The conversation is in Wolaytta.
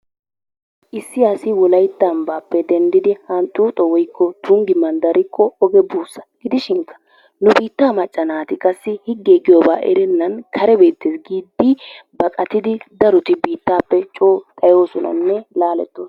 Issi asi wolaytta ambbappe denddidi Honxxoxo woykko Tunggi manddarikko oge buussa. Gidishin nu biittaa macca naatihigge giyooba erenan kare beettees giidi baqattidi daroti biittappe coo xatyoosonanne laaletoosona.